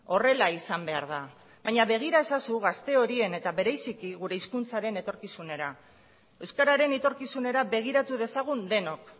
horrela izan behar da baina begira ezazu gazte horien eta bereziki gure hizkuntzaren etorkizunera euskararen etorkizunera begiratu dezagun denok